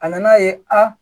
A nan'a ye a